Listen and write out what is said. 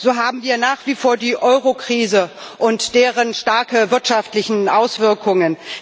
So haben wir nach wie vor die Eurokrise und deren starke wirtschaftliche Auswirkungen.